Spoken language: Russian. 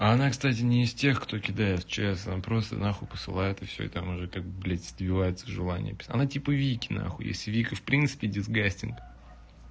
а она кстати не из тех кто кидает в чс она просто нахуй посылает и всё и там уже как бы блядь сбивается желание писать она типа вики нахуй если вика в принципе дисгастинг